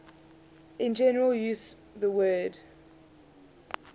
in general use the word